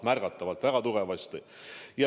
Märgatavalt, väga tugevasti!